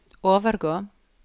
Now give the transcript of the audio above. overgå